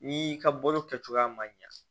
N'i ka bolo kɛcogoya ma ɲa